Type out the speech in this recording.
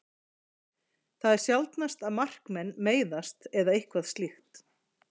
Það er sjaldnast að markmenn meiðast eða eitthvað slíkt.